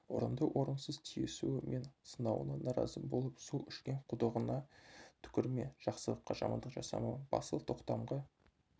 орынды-орынсыз тиісуі мен сынауына наразы болып су ішкен құдығыңа түкірме жақсылыққа жамандық жасама басыл тоқтамға